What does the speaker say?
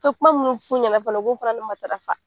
I be kuma munnu f'u ɲɛnɛ fana u ko fana ni matarafa